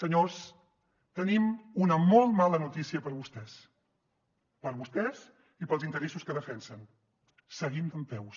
senyors tenim una molt mala notícia per a vostès per a vostès i per als interessos que defensen seguim dempeus